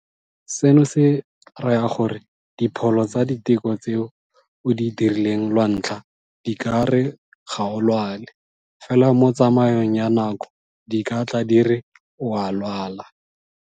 Seno se raya gore dipholo tsa diteko tse o di dirileng lwantlha di ka re ga o lwale, fela mo tsamaong ya nako di ka tla di re o a lwala.